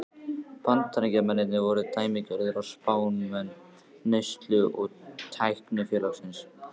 Bandaríkjamennirnir voru dæmigerðir spámenn neyslu- og tæknisamfélagsins.